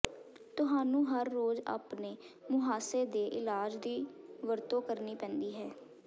ਤੁਹਾਨੂੰ ਹਰ ਰੋਜ਼ ਆਪਣੇ ਮੁਹਾਸੇ ਦੇ ਇਲਾਜ ਦੀ ਵਰਤੋਂ ਕਰਨੀ ਪੈਂਦੀ ਹੈ